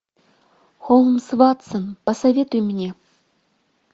холмс ватсон посоветуй мне